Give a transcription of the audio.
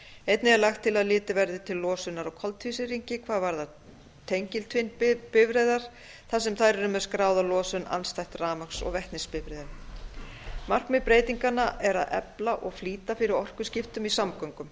einnig er lagt til að litið verði til losunar á koltvísýringi hvað varðar tengiltvinnbifreiðar þar sem þær eru með skráða losun andstætt rafmagns og vetnisbifreiðum markmið tillagnanna er að efla og flýta fyrir orkuskiptum í samgöngum